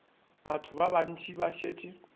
batho ba bantši ba šetše